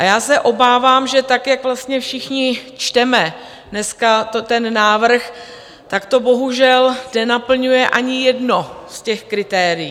A já se obávám, že tak, jak vlastně všichni čteme dneska ten návrh, tak to bohužel nenaplňuje ani jedno z těch kritérií.